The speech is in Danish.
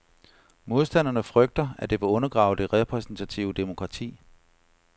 Modstanderne frygter, at det vil undergrave det repræsentative demokrati.